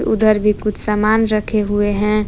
उधर भी कुछ सामान रखे हुए हैं।